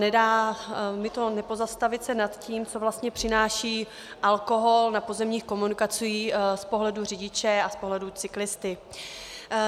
Nedá mi to nepozastavit se nad tím, co vlastně přináší alkohol na pozemních komunikacích z pohledu řidiče a z pohledu cyklisty.